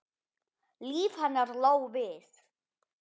Líf hennar lá við.